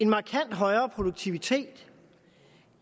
markant højere produktivitet